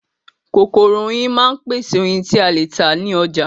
Kokoro oyin máa ń pèsè oyin ti a le ta ni oja